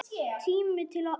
Tími til kominn.